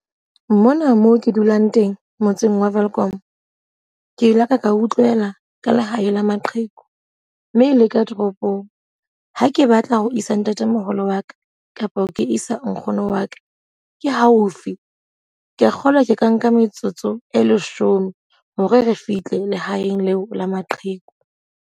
Mona moo ke dulang teng. Motseng wa Welkom, ke laka ka utlwela ka lehae la maqheku. Mme e leka toropong. Ha ke batla ho isa ntatemoholo wa ka kapa ke isa nkgono wa ka, ke haufi. Ke a kgolwa ke ka nka metsotso e leshome hore re fihle lehaeng leo la maqheku.